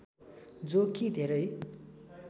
जो कि धेरै